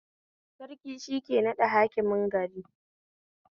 Sarki shike naɗa Hakimin gari